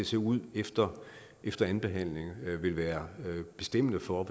se ud efter efter andenbehandlingen vil være bestemmende for